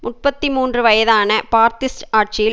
முப்பத்தி மூன்று வயதான பாத்திஸ்ட் ஆட்சியில்